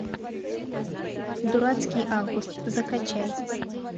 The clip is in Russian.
дурацкий август закачай